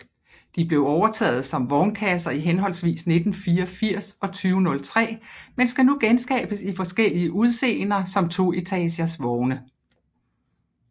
De blev overtaget som vognkasser i henholdsvis 1984 og 2003 men skal nu genskabes i forskellige udseender som toetages vogne